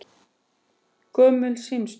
Gömlu símstöð